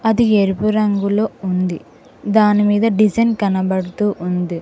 అది ఎరుపు రంగులో ఉంది దాని మీద డిజైన్ కనబడుతూ ఉంది.